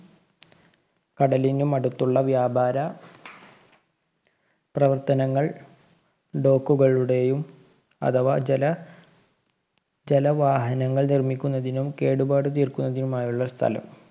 കടലിനും അടുത്തുള്ള വ്യാപാര പ്രവര്‍ത്തനങ്ങള്‍ കളുടെയും അഥവാ ജല ജല വാഹനങ്ങള്‍ നിര്‍മ്മിക്കുന്നതിനും കേടുപാട് തീര്‍ക്കുന്നതിനുമായുള്ള സ്ഥലം.